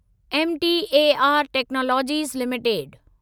MTAR technologies limited